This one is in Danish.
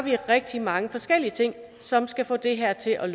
rigtig mange forskellige ting som skal få det her til at